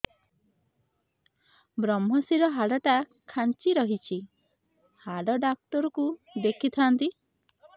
ଵ୍ରମଶିର ହାଡ଼ ଟା ଖାନ୍ଚି ରଖିଛି ହାଡ଼ ଡାକ୍ତର କୁ ଦେଖିଥାନ୍ତି